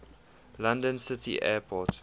london city airport